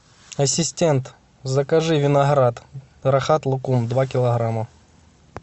ассистент закажи виноград рахат лукум два килограмма